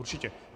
Určitě.